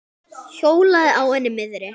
Hjólaði á henni miðri.